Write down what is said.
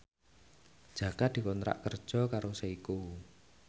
Jaka dikontrak kerja karo Seiko